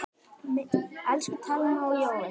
Elsku Thelma og Jói.